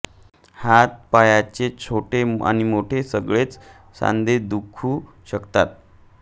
हातापायाचे छोटे आणि मोठे सगळेच सांधे दुखू शकतात